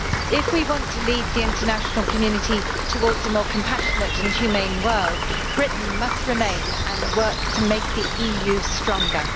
If we want to lead the international community towards a more compassionate and humane world, Britain must remain and work to make the EU stronger.